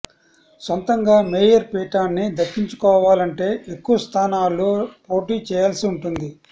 సొంతంగా మేయర్ పీఠాన్ని దక్కించుకోవాలంటే ఎక్కువ స్థానాల్లో పోటీ చేయాల్సి ఉంటుంది